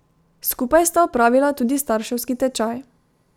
Skupaj sta opravila tudi starševski tečaj.